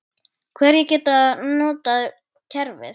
Hverjir geta notað kerfið?